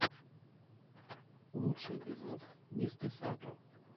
лучший эпизод мистэсато